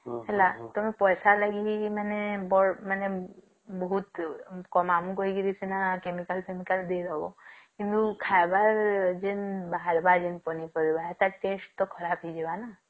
ହେଲା ପଇସା ଲଗେଇ ମାନେ ବୋହୁତ କମା ଆମକୁ କହିନ chemical ଫେମିକାଳ ଦେଇଦେବ କିନ୍ତୁ ଖାଇବାର ଯେନ ବାହାରିବ ଯେନ ପନିପରିବା ଟାର test ତ ଖରାପ ହେଇଯିବା ନାଁ